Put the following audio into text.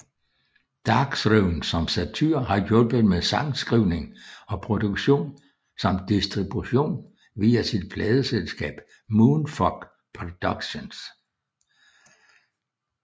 Darkthrone som Satyr har hjulpet med sangskrivning og produktion samt distribution via sit pladeselskab Moonfog Productions